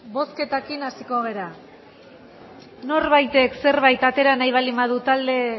bozketekin hasiko gara norbaitek zerbait atera nahi baldin badu talde